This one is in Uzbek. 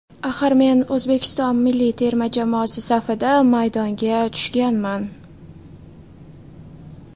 Axir men O‘zbekiston milliy terma jamoasi safida maydonga tushganman”.